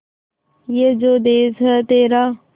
ये जो देस है तेरा